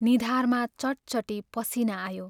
निधारमा चटचटी पसीना आयो।